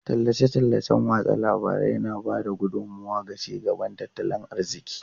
Tallace-tallacen watsa labarai na ba da gudummawa ga ci gaban tattalin arziki.